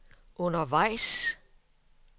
undervejs